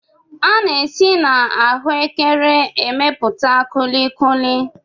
A na-esi n'ahụekere emepụta kulikuli.